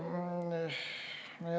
Nii.